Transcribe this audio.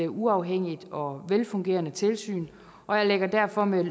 uafhængigt og velfungerende tilsyn og jeg lægger derfor med